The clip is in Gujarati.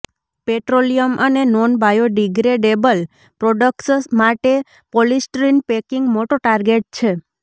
પેટ્રોલિયમ અને નોન બાયોડિગ્રેડેબલ પ્રોડક્ટ્સ માટે પોલિસ્ટ્રીન પેકિંગ મોટો ટાર્ગેટ છે